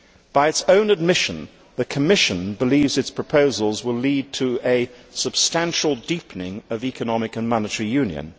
By its own admission, the Commission believes its proposals will lead to a substantial deepening of economic and monetary union.